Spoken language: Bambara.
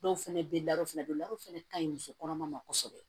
Dɔw fɛnɛ bɛ fɛnɛ don ladon fana ka ɲi muso kɔnɔma ma kosɛbɛ